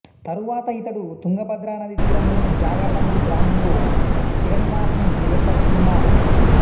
తరువాత ఇతడు తుంగభద్ర నదీ తీరంలోని జాగర్లమూడి గ్రామంలో స్థిరనివాసం ఏర్పరచుకున్నాడు